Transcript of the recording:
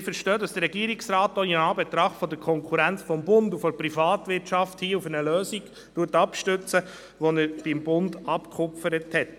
Wir verstehen, dass der Regierungsrat auch in Anbetracht der Konkurrenz durch den Bund und die Privatwirtschaft auf eine Lösung abstützen möchte, die er beim Bund abgekupfert hat.